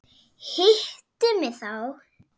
Hittu mig þá.